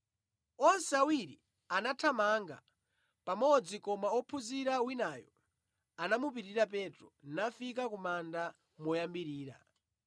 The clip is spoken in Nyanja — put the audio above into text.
Onse awiri anathamanga pamodzi koma wophunzira winayo anamupitirira Petro, nafika ku manda moyambirira.